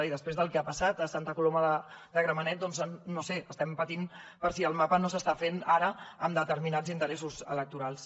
i després del que ha passat a santa coloma de gramenet no ho sé estem patint per si el mapa no s’està fent ara amb determinats interessos electorals